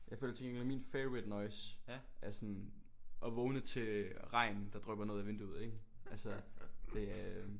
Jeg føler til gengæld at min favorite noise er sådan at vågne til regn der drypper ned af vinduet ik altså det øh